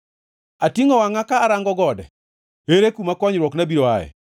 Atingʼo wangʼa ka arango gode, ere kuma konyruokna biro aye?